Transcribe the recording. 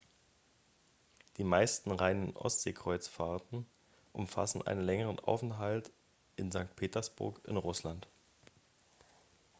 die meisten reinen ostseekreuzfahrten umfassen einen längeren aufenthalt in st. petersburg in russland